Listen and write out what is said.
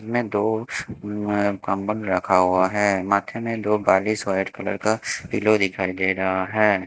में दो अह कम्बन रखा हुआ है माथे ने दो गालिस व्हाइट कलर का पिलो दिखाई दे रहा है।